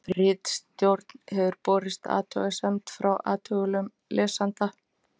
ritstjórn hefur borist athugasemd frá athugulum lesanda